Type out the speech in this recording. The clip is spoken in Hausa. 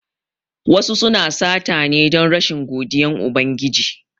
Wasu suna sata ne don rashin godiyan Ubangiji